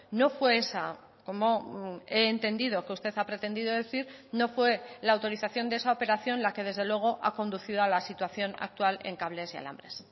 no fue esa como he entendido que usted ha pretendido decir no fue la autorización de esa operación la que desde luego ha conducido a la situación actual en cables y alambres